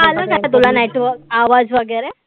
आता आलं ना तुला आवाज वगैरे?